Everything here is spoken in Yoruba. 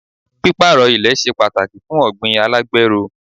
Pípàrọ̀ ilẹ̀ ṣe pàtàkì fún ọ̀gbìn alágbẹ́rọ.